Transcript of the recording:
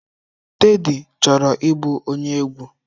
Teddy chọrọ ịbụ onye egwu.